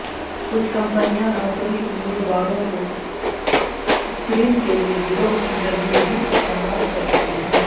کچھ کمپنیاں نوکری امیدواروں کو سکرین کے لئے گروہ انٹرویو بھی استعمال کرتی ہیں